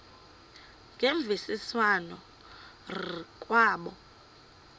ngemvisiswano r kwabo